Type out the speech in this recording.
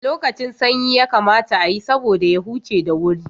A lokacin sanyi yakamata ayi, saboda ya huce da wuri.